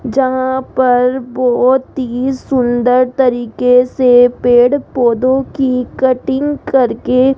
यहां पर बहुत ही सुंदर तरीके से पेड़ पौधों की कटिंग करके --